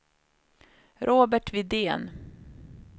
Robert Widén